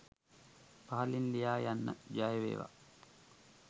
පහලින් ලියා යන්න ජයවේවා.